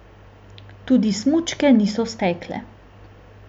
Tudi smučke niso stekle.